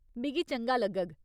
मिगी चंगा लग्गग।